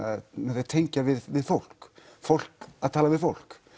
þau tengja við við fólk fólk að tala við fólk